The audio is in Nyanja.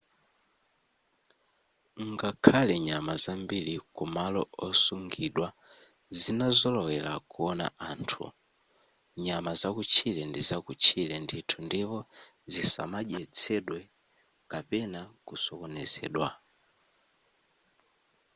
ngakhale nyama zambiri kumalo osungidwa zinazolowera kuwona anthu nyama zakutchire ndizakutchire ndithu ndipo zisamadyetsedwe kapena kusokonezedwa